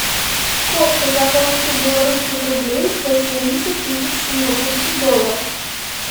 сколько я получу белорусских рублях за семьдесят тысяч сингапурских долларов